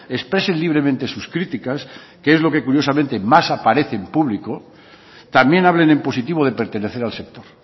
expresen libremente sus críticas que es lo que curiosamente más aparece en público también hablen en positivo de pertenecer al sector